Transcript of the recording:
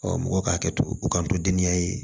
mɔgɔ ka hakɛto u kanto deniya ye